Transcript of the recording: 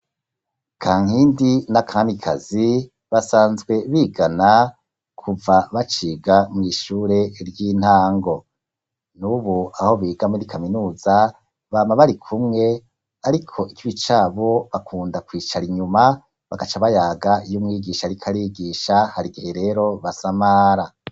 Kankindi na Kamikazi basanzwe bigana kuva baciga mw'ishure ry'intango, nubu aho biga muri Kaminuza, bama bari kumwe ariko ikibi cabo bakunda kwicar'inyuma bagaca bayaga iy'umwigisha arikw'arigisha harigihe rero basamara.